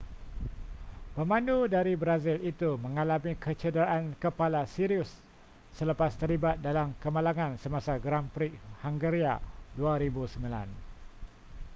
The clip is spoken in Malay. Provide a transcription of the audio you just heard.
pemandu dari brazil itu mengalami kecederaan kepala serius selepas terlibat dalam kemalangan semasa grand prix hungaria 2009